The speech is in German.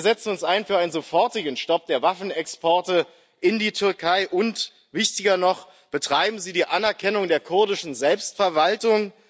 Wir setzen uns ein für einen sofortigen Stopp der Waffenexporte in die Türkei und, wichtiger noch Betreiben Sie die Anerkennung der kurdischen Selbstverwaltung!